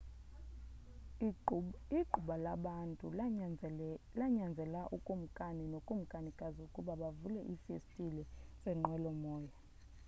igquba labantu lanyanzela ukumkani nokumkanikazi ukuba bavule iifestile zenqwelomoya